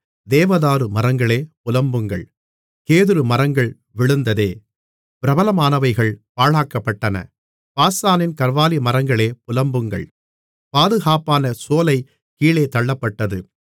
தேவதாரு மரங்களே புலம்புங்கள் கேதுருமரங்கள் விழுந்ததே பிரபலமானவைகள் பாழாக்கப்பட்டன பாசானின் கர்வாலிமரங்களே புலம்புங்கள் பாதுகாப்பான சோலை கீழே தள்ளப்பட்டது